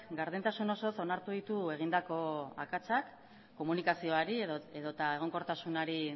gardentasun osoz onartu ditu egindako akatsak komunikazioari edota egonkortasunari